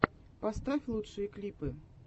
поставь лучшие клипы